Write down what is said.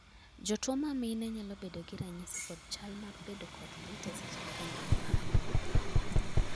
jotuo ma mine nyalo bedo gi ranyisi kod chal mar bedo kod lit eseche ma gineno malo